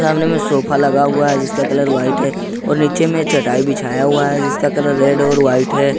सामने में सोफा लगा हुआ है जिसका कलर व्हाइट है और नीचे में चटाई बिछाया हुआ है जिसका कलर रेड और वाइट है।